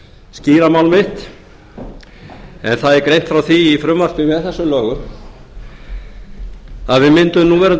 mál mitt en það er greint frá því frumvarpi með þessum lögum að við myndun núverandi